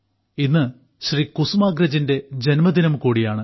ഇന്ന് ശ്രീ കുസുമാഗ്രജിന്റെ ജന്മദിനം കൂടിയാണ്